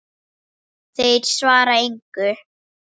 Þeir svara engu.